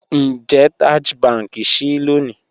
Ńjẹ̀ Taj Bank ṣíì lónì?